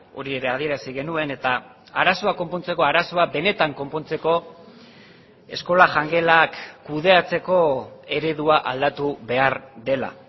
hori ere adierazi genuen eta arazoa konpontzeko arazoa benetan konpontzeko eskola jangelak kudeatzeko eredua aldatu behar dela